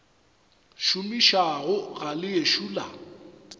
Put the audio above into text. šomišago ga le ešo la